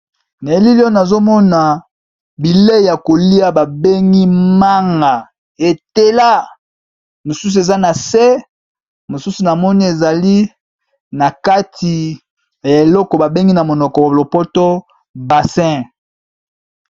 Na elili oyo nazo mona bilei ya kolia babengi manga etela, mosusu eza na se mosusu na moni ezali na kati ya eleko ba bengi na monoko lopoto basin.